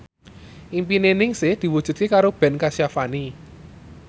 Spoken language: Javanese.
impine Ningsih diwujudke karo Ben Kasyafani